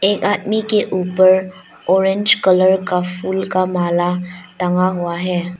एक आदमी के ऊपर ऑरेंज कलर का फूल का माल टंगा हुआ है।